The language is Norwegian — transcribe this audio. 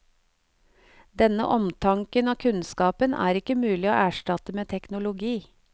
Denne omtanken og kunnskapen er ikke mulig å erstatte med teknologi.